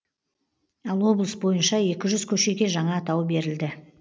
ал облыс бойынша екі жүз көшеге жаңа атау берілді